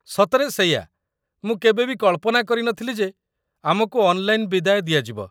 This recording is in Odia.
ସତରେ ସେଇଆ, ମୁଁ କେବେ ବି କଳ୍ପନା କରି ନ ଥିଲି ଯେ ଆମକୁ ଅନ୍‌ଲାଇନ୍‌ ବିଦାୟ ଦିଆଯିବ।